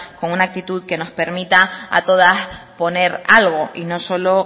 con una actitud que nos permita a todas poner algo y no solo